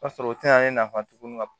O b'a sɔrɔ o tɛ na ne nafa tuguni ka